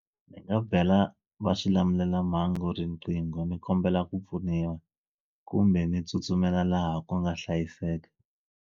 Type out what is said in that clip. Ni nga bela va swilamulelamhangu riqingho ni kombela ku pfuniwa kumbe ndzi tsutsumela laha ku nga hlayiseka.